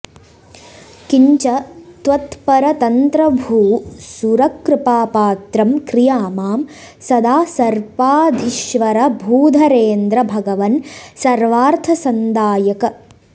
किञ्च त्वत्परतन्त्रभूसुरकृपापात्रं क्रिया मां सदा सर्पाधीश्वरभूधरेन्द्र भगवन् सर्वार्थसन्दायक